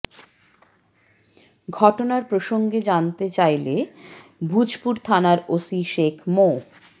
ঘটনার প্রসঙ্গে জানতে চাইলে ভূজপুর থানার ওসি শেখ মো